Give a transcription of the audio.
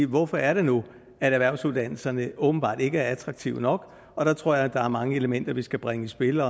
hvorfor er det nu at erhvervsuddannelserne åbenbart ikke er attraktive nok og der tror jeg at der er mange elementer vi skal bringe i spil